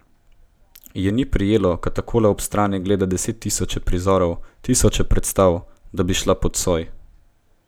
Je ni prijelo, ko takole od strani gleda desettisoče prizorov, tisoče predstav, da bi šla pod soj?